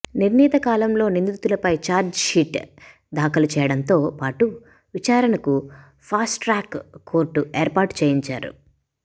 నిర్ణీత కాలంలో నిందితులపై చార్జ్షీట్ దాఖలు చేయడంతో పాటు విచారణకు ఫాస్ట్ట్రాక్ కోర్ట్ ఏర్పాటు చేయించారు